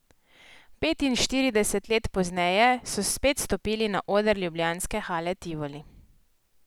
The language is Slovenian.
Petinštirideset let pozneje, so spet stopili na oder ljubljanske Hale Tivoli.